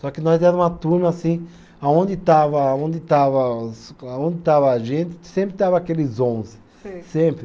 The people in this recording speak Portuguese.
Só que nós era uma turma assim, aonde estava, aonde estava, aonde estava a gente, sempre estava aqueles onze, sempre.